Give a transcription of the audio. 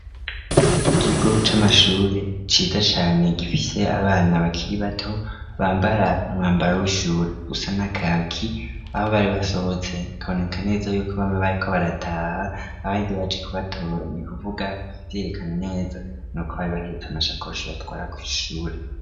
Ikigo c'amashure ciza cane gifise abana bakiri bato bambara umwambaro w'ishure usa na kaki aho bari basohotse hakaboneka neza yuko bariko barataha abandi baje kubatora nikuvuga ikivyerekana neza nuko bari bahetse amashakoshi batwara ku ishure.